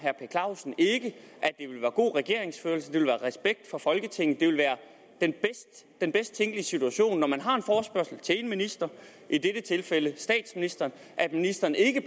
at god regeringsførelse at det vil være respekt for folketinget at det vil være den bedst tænkelige situation når man har en forespørgsel til en minister i dette tilfælde statsministeren at ministeren ikke